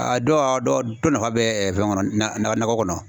A dɔw a dɔ nafa bɛ fɛn kɔnɔ nakɔ kɔnɔ.